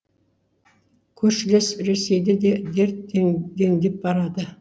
көршілес ресейде де дерт дендеп барады